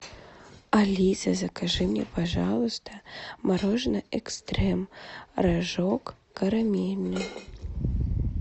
алиса закажи мне пожалуйста мороженое экстрем рожок карамельный